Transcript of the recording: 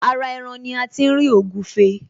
Ara ẹran ní a ti ń ri ògúfe